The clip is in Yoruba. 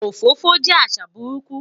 Òfófó jẹ́ àṣà burúkú